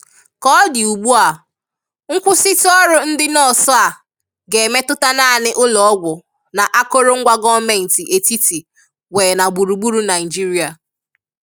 Ka ọ dị ugbua, nkwụsịtụ ọrụ ndị nọọsụ a ga-emetụta naanị ụlọọgwụ na akụrụngwa gọọmentị etiti nwee na gburugburu Naịjirịa.